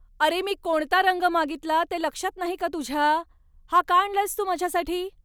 अरे, मी कोणता रंग मागितला ते लक्षात नाही का तुझ्या? हा का आणलायस तू माझ्यासाठी?